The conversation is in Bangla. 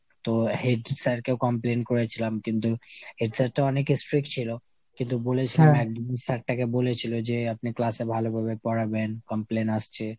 তো head sir কেও complain করেছিলাম কিন্তু, head sir তো অনেক strick ছিল কিন্তু বলেছিলাম এক দু'দিন sir টাকে বলেছিলো যে আপনি class এ ভালোভাবে পড়াবেন complain আসছে।